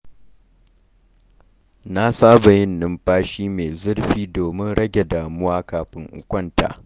Na saba yin numfashi mai zurfi domin rage damuwa kafin in kwanta.